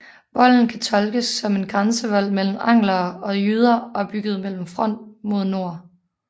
Volden kan tolkes som en grænsevold mellem anglere og jyder og er bygget med front mod nord